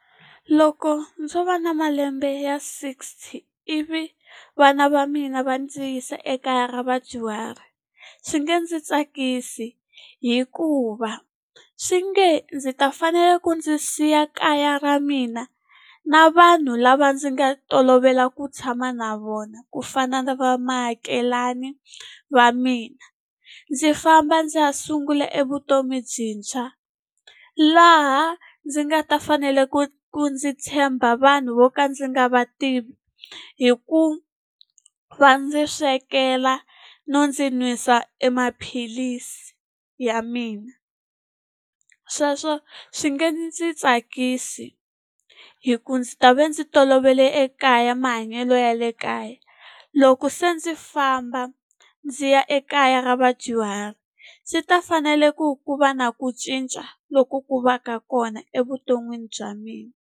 Loko ndzo va na malembe ya sixty ivi vana va mina va ndzi yisa ekaya ra vadyuhari, swi nge ndzi tsakisi. Hikuva swi nge ndzi ta fanela ku ndzi siya kaya ra mina na vanhu lava ndzi nga tolovela ku tshama na vona ku fana na va muakelani wa mina, ndzi famba ndzi ha sungula e vutomi byintshwa. Laha ndzi nga ta fanele ku ku ndzi tshemba vanhu vo ka ndzi nga va tivi hi ku va ndzi swekela, no ndzi nwisa e maphilisi ya mina. Sweswo swi nga ndzi tsakisi, hikuva ndzi ta va ndzi tolovele ekaya mahanyelo ya le kaya. Loko se ndzi famba ndzi ya ekaya ra vadyuhari, swi ta fanele ku ku va na ku cinca loku ku va ka kona evuton'wini bya mina.